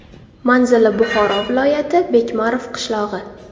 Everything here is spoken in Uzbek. Manzili Buxoro viloyati, Bekmarov qishlog‘i.